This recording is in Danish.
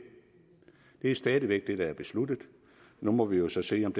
er stadig væk det der er besluttet nu må vi jo så se om